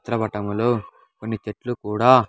చిత్రపటంలో కొన్ని చెట్లు కూడా.